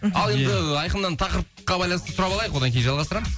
ал енді ыыы айқыннан тақырыпқа байланысты сұрап алайық одан кейін жалғастырамыз